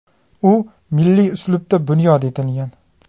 U milliy uslubda bunyod etilgan .